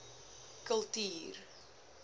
kultuur